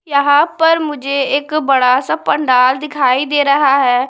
यहां पर मुझे एक बड़ा सा पंडाल दिखाई दे रहा है।